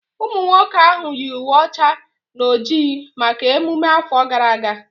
Ụmụ akwụkwọ ahụ yi uwe ọcha na oji maka emume afọ gara aga